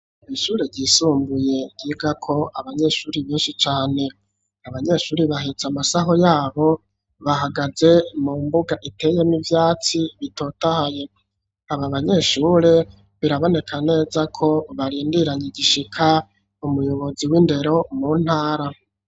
Mu ishure ryisumbuye ryiga ko abanyeshure benshi cane abanyeshure baheze amasaho yabo bahagaze mu mbuga iteyemwo ivyatsi bitotahaye aba banyeshure biraboneka neza ko barindiranye igishika umuyobozi w'indero mu ntara.